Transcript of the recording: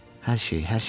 Hər şeyi, hər şeyi.